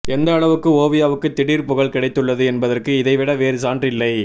எந்த அளவுக்கு ஓவியாவுக்கு திடீர் புகழ் கிடைத்துள்ளது என்பதற்கு இதைவிட வேறு சான்று இல்லை